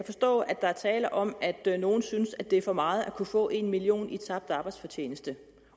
forstå at der er tale om at nogle synes at det er for meget at kunne få en million kroner i tabt arbejdsfortjeneste